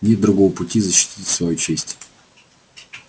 нет другого пути защитить свою честь